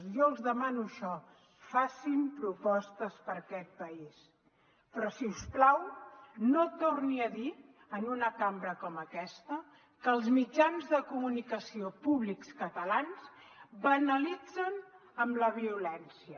jo els demano això facin propostes per a aquest país però si us plau no torni a dir en una cambra com aquesta que els mitjans de comunicació públics catalans banalitzen la violència